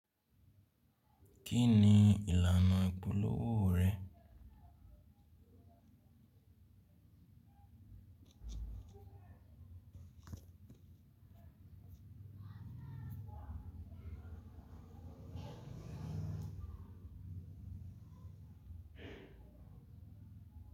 Kí ni ìlànà ìpolówó rẹ?